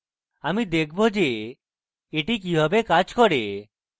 আমি দেখব যে এটি কিভাবে কাজ করে